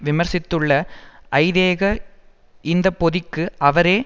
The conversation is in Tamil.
விமர்சித்துள்ள ஐதேக இந்த பொதிக்கு அவரே